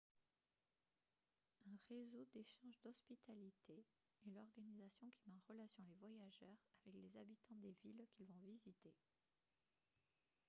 un réseau d'échange d'hospitalité est l'organisation qui met en relation les voyageurs avec les habitants des villes qu'ils vont visiter